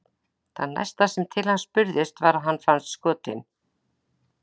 Það næsta sem til hans spurðist var að hann fannst skotinn.